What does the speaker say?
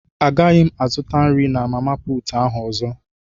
Agaghị m azụta nri na mama puutụ ahụ ọzọ.